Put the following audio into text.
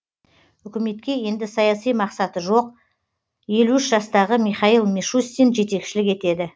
үкіметке енді саяси мақсаты жоқ елу үш жастағы михаил мишустин жетекшілік етеді